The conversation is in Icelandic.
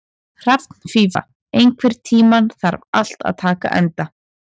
Hrafnfífa, einhvern tímann þarf allt að taka enda.